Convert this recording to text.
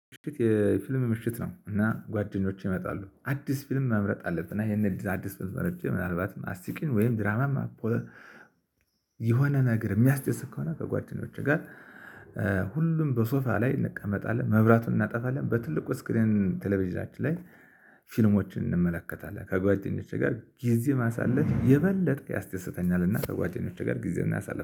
ምሽት የፊልም ምሽት ነው። እና ጓደኞቼ ይመጣሉ አዲስ ፊልም መምረጥ አለብን እና ይሄንን አዲስ ፊልም መርጬ ምናልባት አስቂኝ ወይም ድራማማ። የሆነ ነገር የሚያስደስት ከሆነ ከጓደኞቼ ጋር ሁሉም በሶፋ ላይ እንቀመጣለን መብራቱን እናጠፋለን በትልቁ ስክሪን ቴሌቪዥናችን ላይ። ፊልሞችን እንመለከታለን ከጓደኞቼ ጋር ጊዜ ማሳለፍ የበለጠ ያስደስተኛል። እና ከጓደኞቼ ጋር ጊዜ እናሳለፍ